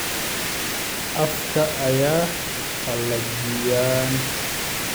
Afka ayay qalajiyaan.